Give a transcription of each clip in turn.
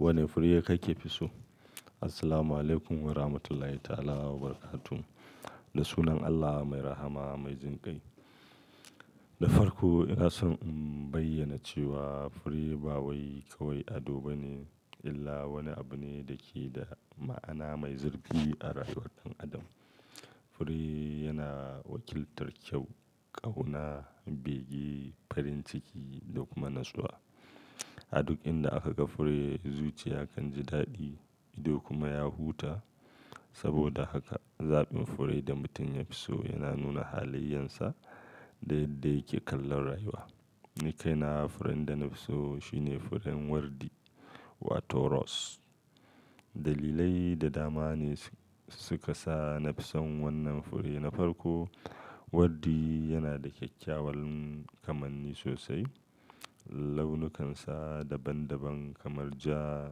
Wane fure kake fi so? Assalamualaikum warahmatullahi ta'ala wabarakatuh. Da sunan Allah mai rahama, mai jinƙai. Da farko, ina son in bayyana cewa fure ba wai kawai ado bane illa wani abu ne da ke da ma'ana mai zurfi a rayuwar ɗan adam. Fure yana wakiltar kyau, ƙauna, bege, farin ciki da kuma natsuwa. A duk inda aka ga fure, zuciya kan ji daɗi ido kuma ya huta. Saboda haka, zaɓin fure da mutum ya fi so yana nuna halayyensa da yadda yake kallon rayuwa. Ni kaina furen da na fi so shine furen wardi wato rose. Dalilai da dama ne su ka sa na fi son wannan fure na farko. Wardi yana da kyakkyawan kamanni sosai. Launukansa daban-daban kamar ja,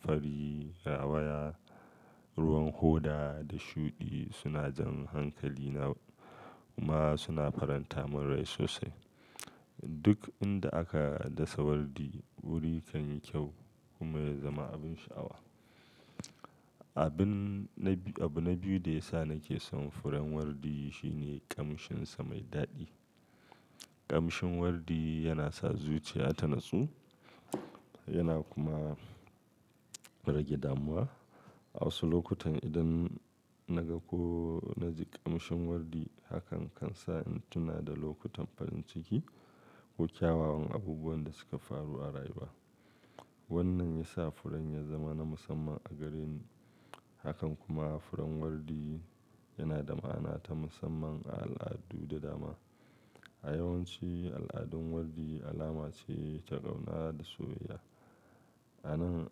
fari, rawaya, ruwan hoda da shuɗi suna jan hankali kuma suna faranta mun rai sosai. Duk inda aka dasa wardi, wuri kan yi kyau kuma ya zama abin sha'awa. Abin na biyu-- abu na biyu da ya sa nake son furen wardi shi ne ƙamshinsa mai daɗi. Ƙamshin wardi yana sa zuciya ta natsu yana kuma rage damuwa. A wasu lokutan idan na ga ko na ji ƙamshin wardi, hakan kan sa in tuna da lokutan farin ciki ko kyawawan abubuwan da suka faru a rayuwa. Wannan ya sa furen ya zama na musamman a gare ni. Hakan kuma furen wardi yana da ma'ana ta musamman a al'adu da dama. A yawanci, al'adun wardi alama ce ta ƙauna da soyayya. Ana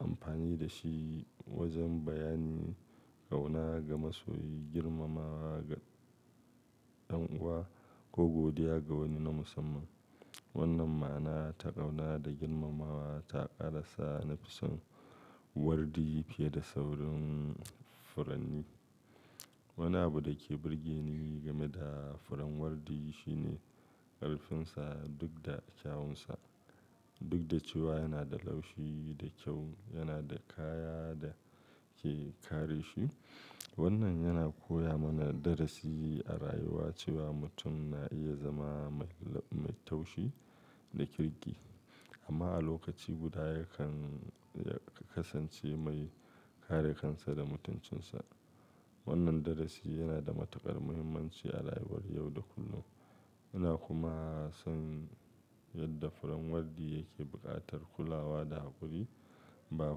amfani da shi wajen bayani ƙauna ga masoyi, girmamawa ga ɗan'uwa ko godiya ga wani na musamman. Wannan ma'ana ta ƙauna da girmamawa ta ƙara sa na fi son wardi fiye da sauran furanni. Wani abu da ke burge ni game da furen wardi shi ne ƙarfinsa duk da kyawunsa. Duk da cewa yana da laushi da kyau, yana da kaya da ke kare shi. Wannan yana koya mana darasi a rayuwa cewa mutum na iya zama mai la-- mai taushi da kirki amma a lokaci guda ya kan ya kasance mai kare kansa da mutuncinsa. Wannan darasi yana da matuƙar muhimmanci a rayuwar yau da kullum. Ina kuma son yadda furen wardi yake buƙatar kulawa da haƙuri. Ba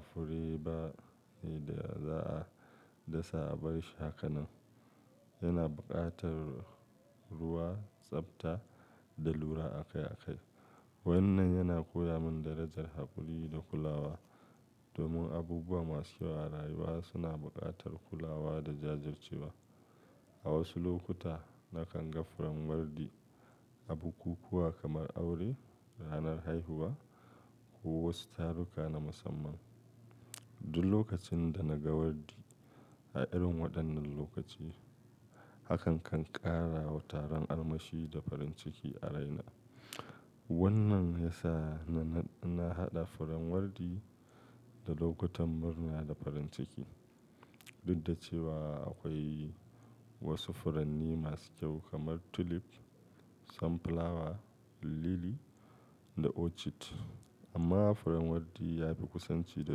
fure bane da za a dasa a bar shi haka nan. Yana buƙatar ruwa, tsafta da lura akai-akai. Wannan yana koya min darajar haƙuri da kulawa. Domin abubuwa masu kyau a rayuwa suna buƙatar kulawa da jajircewa. A wasu lokuta, na kan ga furen wardi a bukukuwa kamar aure, ranar haihuwa ko wasu taruka na musamman. Duk lokacin da na ga wardi a irin waɗannan lokaci, hakan kan ƙara wa taron armashi da farin ciki a raina. Wannan ya sa na, na haɗa furen wardi da lokutan murna da farin ciki. Duk da cewa akwai wasu furanni masu kyau kamar tulip, sunflower, lily da orchid amma furen wardi ya fi kusanci da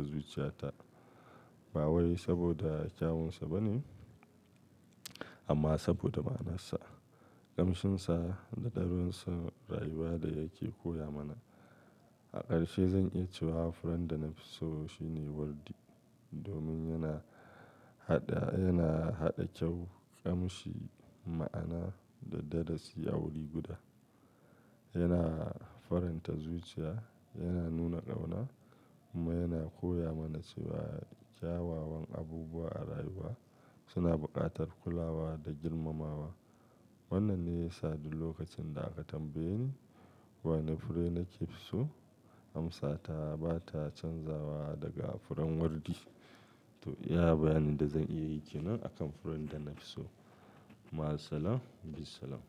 zuciyata. Ba wai saboda kyawunsa bane amma saboda ma'anarsa, ƙamshinsa da darussan rayuwa da yake koya mana. A ƙarshe, zan iya cewa furen da na fi so shi ne wardi domin yana haɗa, yana haɗa kyau, ƙamshi, ma'ana da darasi a wuri guda. Yana faranta zuciya, yana nuna ƙauna kuma yana koya mana cewa kyawawan abubuwa a rayuwa suna buƙatar kulawa da girmamawa. Wannan ne ya sa duk lokacin da aka tambaye ni wane fure nake fi so, amsa ta ba ta canzawa daga furen wardi. To, iya bayani da zan iya yi ke nan a kan furen da na fi so. Ma assalam, bissalam.